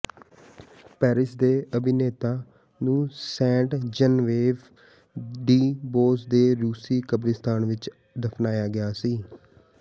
Paris ਦੇ ਅਭਿਨੇਤਾ ਨੂੰ ਸੇਂਟ ਜਨੇਵਵੇਵ ਡੀ ਬੋਇਸ ਦੇ ਰੂਸੀ ਕਬਰਸਤਾਨ ਵਿਚ ਦਫਨਾਇਆ ਗਿਆ ਸੀ